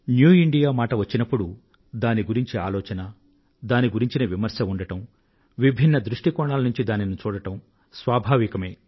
new India మాట వచ్చినప్పుడు దాని గురించిన ఆలోచన దాని గురించిన విమర్శ ఉండడం విభిన్న దృష్టి కోణాల నుండి దానినిచూడడం స్వాభావికమే